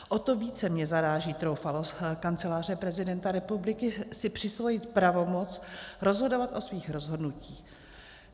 O to více mě zaráží troufalost Kanceláře prezidenta republiky si přisvojit pravomoc rozhodovat o svých rozhodnutích.